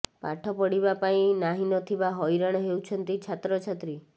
ପାଠ ପଢିବା ପାଇଁ ନାହିଁ ନଥିବା ହଇରାଣ ହେଉଛନ୍ତି ଛାତ୍ରଛାତ୍ରୀ